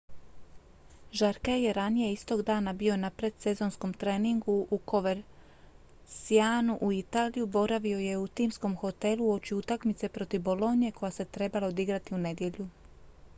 jarque je ranije istog dana bio na predsezonskom treningu u covercianu u italiji boravio je u timskom hotelu uoči utakmice protiv bologne koja se trebala odigrati u nedjelju